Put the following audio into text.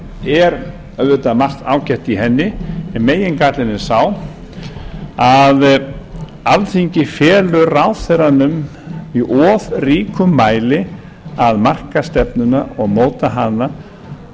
það er auðvitað margt ágætt í henni en megingallinn er sá að alþingi felur ráðherranum í of ríkum mæli að marka stefnuna og móta hana